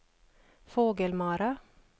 Fågelmara